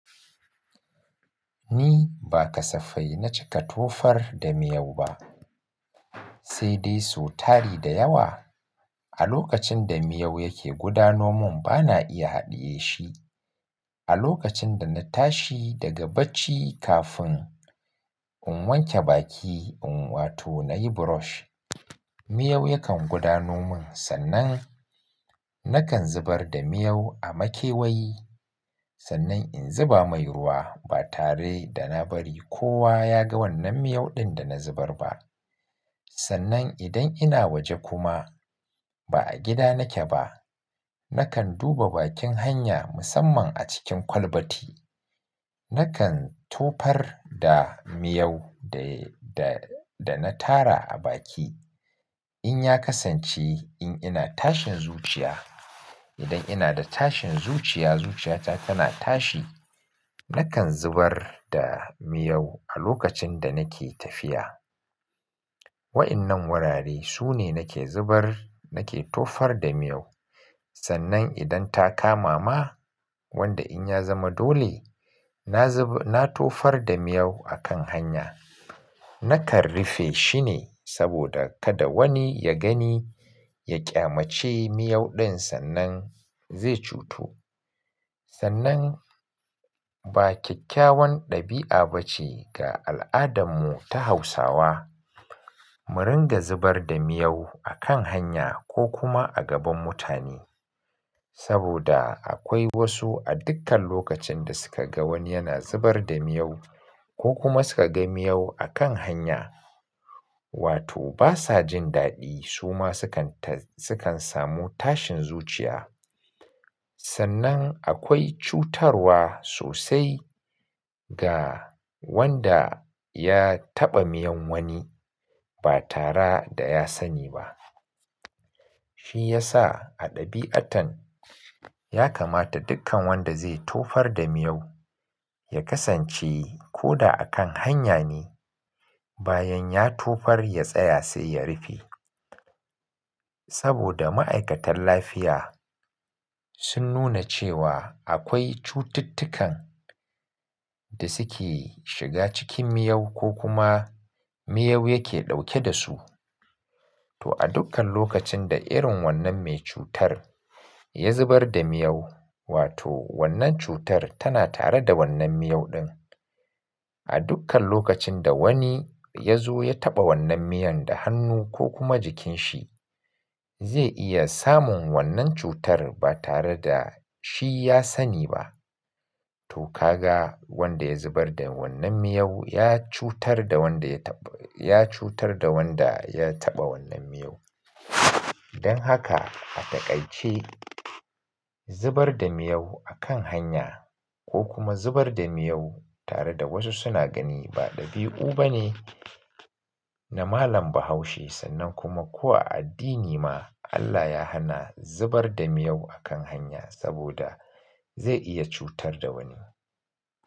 Ni ba kasafai na cika tofar da miyau ba, sai dai so tari da yawa. A lokacin da miyau yake gudanomin, bana iya haɗiye shi. A lokacin da na tashi daga bacci kafin in wanke baki in wato nayi brush, miyau yakan gudanomin sannan nakan zubar da miyau a makewayi. Sannan in zuba mai ruwa ba tare da na bari kowa ya ga wannan miyau ɗin da na zubar ba. Sannan idan ina waje kuma ba a gida nake ba, nakan duba bakin hanya musamman a cikin kwalbati. Nakan tofar da miyau da, da, da na tara a baki. In ya kasance in ina tashin zuciya, idan ina da tashin zuciya, zuciyata tana tashi, nakan zubar da miyau a lokacin da nake tafiya. Waɗannan wurare sune nake zubar, nake tofar da miyau. Sannan idan ta kama ma wanda in ya zama dole na zub-- na tofar da miyau a kan hanya, nakan rufe shine saboda kada wani ya gani ya ƙyamance miyau ɗin sannan zai cutu. Sannan ba kyakkyawan ɗabi'a ba ce ga al'adarmu ta Hausawa, mu ringa zubar da miyau a kan hanya ko kuma a gaban mutane. Saboda akwai wasu a dukkan lokacin da suka ga wani yana zubar da miyau ko kuma suka ga miyau a kan hanya, wato basa jin daɗi suma sukan ta-- sukan samu tashin zuciya. Sannan akwai cutarwa sosai ga wanda ya taɓa miyan wani ba tare da ya sani ba. Shi ya sa a ɗabi'atan ya kamata dukkan wanda zai tofar da miyau, ya kasance ko da a kan hanya ne, bayan ya tofar ya tsaya sai ya rufe. Saboda ma'aikatan lafiya sun nuna cewa akwai cututtukan da suke shiga cikin miyau ko kuma miyau yake ɗauke da su. To a dukkan lokacin da irin wannan mai cutar ya zubar da miyau, wato wannan cutar tana tare da wannan miyau ɗin. A dukkan lokacin da wani ya zo ya taɓa wannan miyan da hannu ko kuma jikinsa, zai iya samun wannan cutar ba tare da shi ya sani ba. To ka ga wanda ya zubar da wannan miyau ya cutar da wanda ya taɓa, ya cutar da wanda ya taɓa wannan miyau. Don haka a taƙaice zubar da miyau a kan hanya ko kuma zubar da miyau tare da wasu suna gani ba ɗabi'u ba ne na malam Bahaushe. Sannan kuma ko a addini ma Allah ya hana zubar da miyau a kan hanya saboda zai iya cutar da wani.